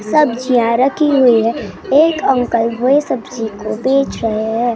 सब्जियाँ रखी हुई हैं एक अंकल वही सब्जी को बेच रहे हैं।